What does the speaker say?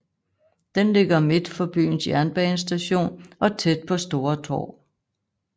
Den ligger midt for byens jernbanestation og tæt på Stora torg